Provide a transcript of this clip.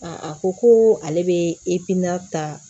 a ko ko ale bɛ ta